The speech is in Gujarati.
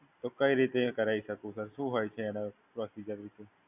તો કઈ રીતે એ કરવી શકું? શું છે એની પ્રોસીજર?